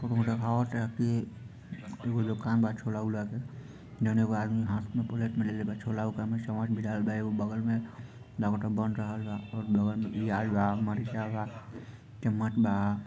उम्मे देखावता की एगो दुकान बा छोला-ओला के जोवन एगो आदमी हाथ प्लेट लेले बा छोला में एगो बगल लागत बा बन रहल बा प्याज बा मिर्चा बा चम्मच बा।